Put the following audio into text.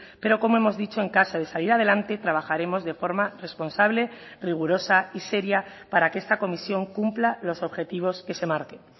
pero como hemos dicho en caso de salir adelante trabajaremos de forma responsable rigurosa y seria para que esta comisión cumpla los objetivos que se marquen